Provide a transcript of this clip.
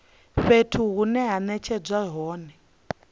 fhethu hune ha netshedzwa hone